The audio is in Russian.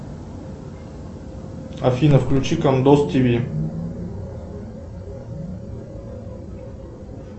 афина включи кондос тв